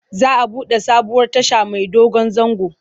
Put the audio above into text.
Za a buɗe sabuwar tasha mai dogon zango.